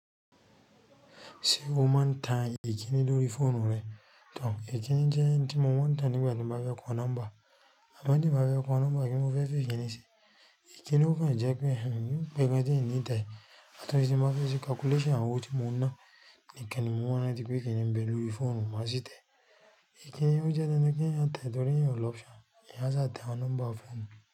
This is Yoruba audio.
Ṣé o máa ń tan ìkíni lórí fóònù rẹ? Tàn, ìkíni jẹ́ ohun tí mo máa ń tan nígbà tí mo bá fẹ́ kun nọ́mbà. Àbẹ́ tí mo bá fẹ́ kun nọ́mbà kí mo fẹ́ fi ìkíni ṣe. Ìkíni ò kan jẹ́ pé èèyàn kò mọ ohun tí ẹni tẹ̀, àtọ̀sí tí mo bá fẹ́ ṣe calculation àwọn ohun tí mo ń ná. Nìkan ni mo mọ̀ ní bí ìkíni ń bẹ lórí fóònù, má sì tẹ̀. Ìkíni ò jẹ́ ẹni kí ẹni a tẹ̀ torí ẹ̀yàn ò lọ option. Ẹni a ṣà tẹ àwọn nọ́mbà ọfẹ nù.